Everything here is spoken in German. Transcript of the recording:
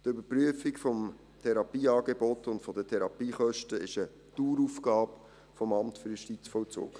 Die Überprüfung des Therapieangebots und der Therapiekosten ist eine Daueraufgabe des AJV.